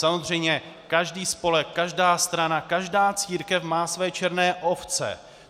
Samozřejmě každý spolek, každá strana, každá církev má své černé ovce.